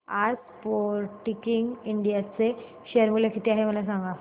आज Sportking India चे share मूल्य किती आहे मला सांगा